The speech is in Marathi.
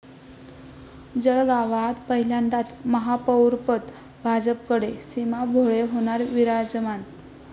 जळगावात पहिल्यांदाच महापौरपद भाजपकडे, सीमा भोळे होणार विराजमान